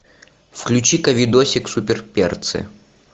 включи ка видосик супер перцы